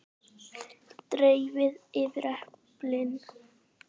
Dreifið yfir eplin.